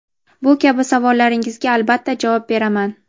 Bu kabi savollaringizga albatta javob beraman.